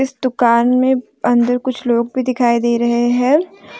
दुकान में अंदर कुछ लोग भी दिखाई दे रहे हैं।